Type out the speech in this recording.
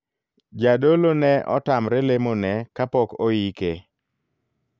Jadolo ne otamre lemo ne kapok oike.